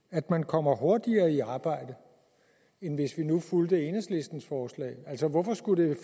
at man kommer hurtigere i arbejde end hvis vi nu fulgte enhedslistens forslag altså hvorfor skulle